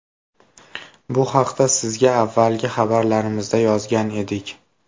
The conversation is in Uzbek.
Bu haqda sizga avvalgi xabarlarimizda yozgan edik.